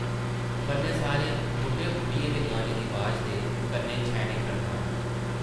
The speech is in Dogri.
कन्नै सारे बुड्ढे-बुड्ढियें दे गाने दी अवाज़ ते कन्नै छैनें-खड़तालां ।